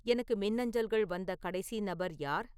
எனக்கு மின்னஞ்சல்கள் வந்த கடைசி நபர் யார்